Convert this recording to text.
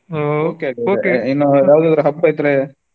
ಹಬ್ಬ ಇದ್ರೆ.